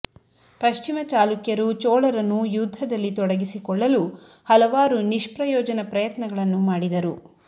ಪಶ್ಚಿಮ ಚಾಲುಕ್ಯರು ಚೋಳರನ್ನು ಯುದ್ಧದಲ್ಲಿ ತೊಡಗಿಸಿಕೊಳ್ಳಲು ಹಲವಾರು ನಿಷ್ಪ್ರಯೋಜನ ಪ್ರಯತ್ನಗಳನ್ನು ಮಾಡಿದರು